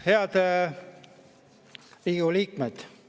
Head Riigikogu liikmed!